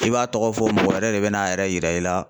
I b'a tɔgɔ fɔ mɔgɔ wɛrɛ de bɛ n'a yɛrɛ yira i la